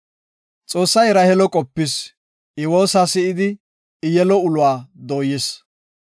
Xoossay Raheelo qopis. I woosa si7idi I yelo uluwa dooyis.